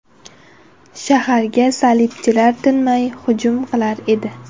Shaharga salibchilar tinmay hujum qilar edi.